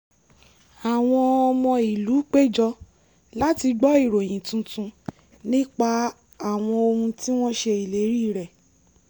àwọn ọmọ ìlú péjọ láti gbọ ìròyìn tuntun nípa àwọn ohun tí wọ́n ṣe ìlérí rẹ̀